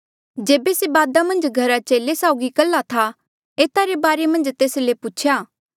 जेबे से बादा मन्झ घरा चेले साउगी कल्हा था एता रे बारे मन्झ तेस ले दबारा पूछेया